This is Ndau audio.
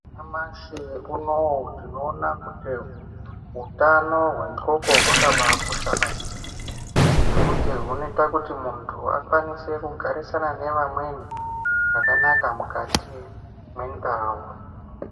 Nyamashi unowu tinoona kuti utano hwendxondo hwakabakosha maningi . Ngekuti hunoita kuti muntu akwanise kugarisana nevamweni zvakanaka mukati mwendau.